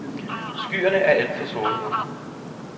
Skyerne er alt for sorte.